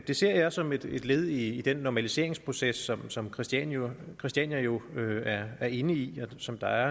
det ser jeg som et led i den normaliseringsproces som som christiania christiania jo er er inde i og som der